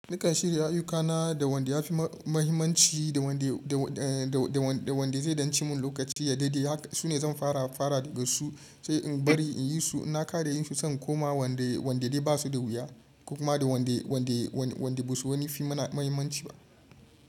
Nikan shirya ayyukana da wanda yafi mahimmanci da wanda zai danci mun lokaci ya daidai haka sune zan fara daga su sai in bari in yi su. Nakare yin su sai in koma wande de basu da wuya kuma da wande basu wani fim na muhimmanci ba.